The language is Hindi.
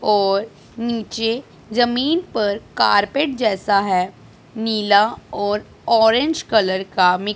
और नीचे जमीन पर कारपेट जैसा है नीला और ऑरेंज कलर का--